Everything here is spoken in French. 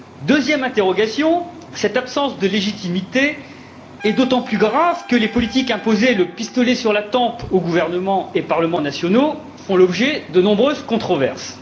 Deuxième interrogation cette absence de légitimité est d'autant plus grave que les politiques imposées, le pistolet sur la tempe, aux gouvernements et aux parlements nationaux font l'objet de nombreuses controverses.